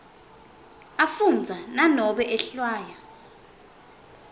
afundza nanobe ehlwaya